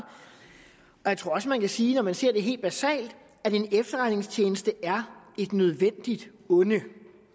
jeg tror også man kan sige når man ser det helt basalt at en efterretningstjeneste er et nødvendigt onde